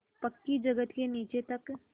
पक्की जगत के नीचे तक